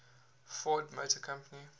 ford motor company